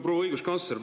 Proua õiguskantsler!